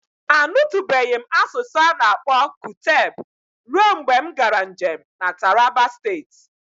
Anutubeghi m asụsụ ana-akpọ Kuteb ruo mgbe m gaara njem na Taraba Steeti.